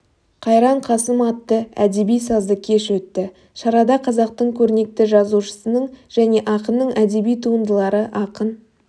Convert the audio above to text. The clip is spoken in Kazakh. қайран қасым атты әдеби-сазды кеш өтті шарада қазақтың көрнекті жазушысының және ақынының әдеби туындылары ақын